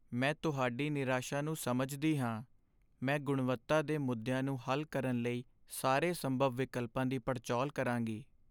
ਮੈਂ ਤੁਹਾਡੀ ਨਿਰਾਸ਼ਾ ਨੂੰ ਸਮਝਦੀ ਹਾਂ, ਮੈਂ ਗੁਣਵੱਤਾ ਦੇ ਮੁੱਦਿਆਂ ਨੂੰ ਹੱਲ ਕਰਨ ਲਈ ਸਾਰੇ ਸੰਭਵ ਵਿਕਲਪਾਂ ਦੀ ਪੜਚੋਲ ਕਰਾਂਗੀ।